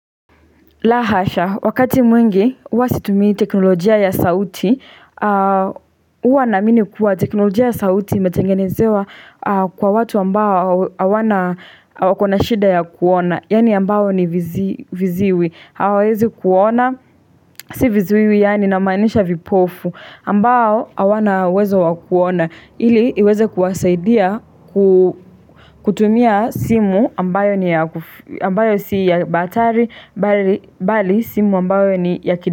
La hasha, wakati mwingi uwa situmi teknolojia ya sauti, uwa namini kuwa teknolojia ya sauti imetengenezewa kwa watu ambao hawana wako na shida ya kuona, yani ambao ni viziwi. Hawawezi kuona si vizuiwi yaani na manisha vipofu ambao hawana uwezo wa kuona ili iweze kuwasaidia kutumia simu ambayo si ya batari bali simu ambayo ni ya kidi.